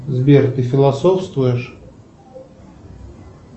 сбер ты философствуешь